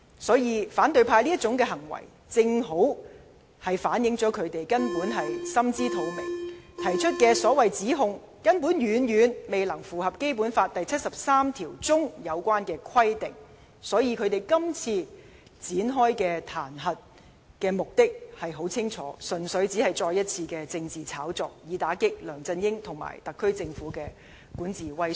所以，反對派這種行為正好顯示出他們根本心知肚明，提出的指控遠遠未符合《基本法》第七十三條的有關規定，所以他們這次展開彈劾的目的很清楚，純粹只是另一場政治炒作，以打擊梁振英和特區政府的管治威信。